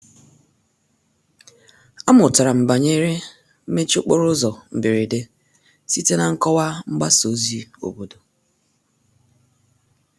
Amụtara m banyere mmechi okporo ụzọ mberede site na nkọwa mgbasa ozi obodo